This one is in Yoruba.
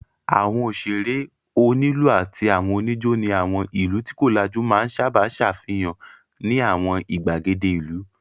Àwọn òṣèrè, onílù àti àwọn oníjó ní àwọn ìlú tí kò lajú máa sábà ṣàfihàn ní àwọn ìgbàgede ìlú.